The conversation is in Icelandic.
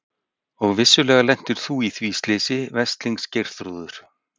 Og vissulega lentir þú í því slysi, veslings Geirþrúður.